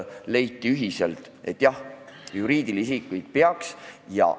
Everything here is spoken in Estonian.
Leiti ühiselt, et jah, juriidilisi isikuid peaks mõjutama.